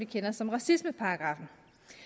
kender som racismeparagraffen